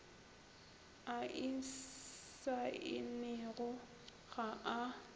a e saennego ga a